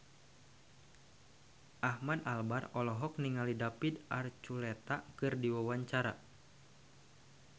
Ahmad Albar olohok ningali David Archuletta keur diwawancara